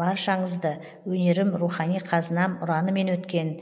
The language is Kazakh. баршаңызды өнерім рухани қазынам ұранымен өткен